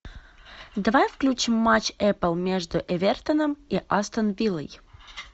давай включим матч апл между эвертоном и астон виллой